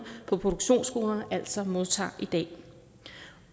på produktionsskolerne altså modtager i dag